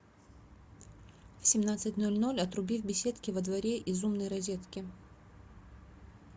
в семнадцать ноль ноль отруби в беседке во дворе из умной розетки